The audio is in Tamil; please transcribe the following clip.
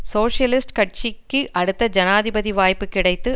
சோசியலிஸ்ட் கட்சிக்கு அடுத்த ஜனாதிபதி வாய்ப்பு கிடைத்து